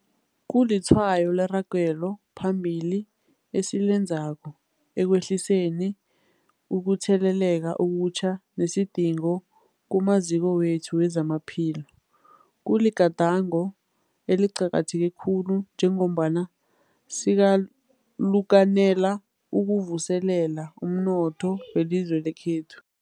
Kulitshwayo leragelo phambili esilenzako ekwehliseni ukutheleleka okutjha nesidingo kumaziko wethu wezamaphilo. Kuligadango eliqakatheke khulu njengombana sikalukanela ukuvuselela umnotho welizwe lekhethu.